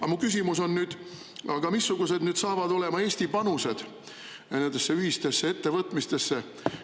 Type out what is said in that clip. Aga mu küsimus on nüüd, et missugused saavad olema Eesti panused nendesse ühistesse ettevõtmistesse.